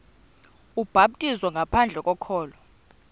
ubhaptizo ngaphandle kokholo